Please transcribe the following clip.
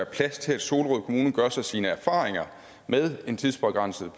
plads til at solrød kommune gør sig sine erfaringer med en tidsbegrænset